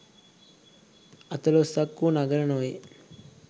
අතලොස්සක්වූ නගර නොවේ